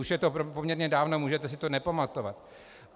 Už je to poměrně dávno, můžete si to nepamatovat.